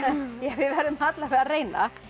við verðum allavega að reyna